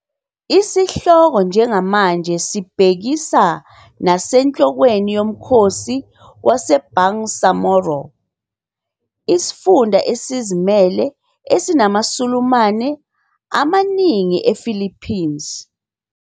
Isihloko njengamanje sibhekisa nasenhlokweni yomkhosi waseBangsamoro, isifunda esizimele esinamaSulumane amaningi ePhilippines.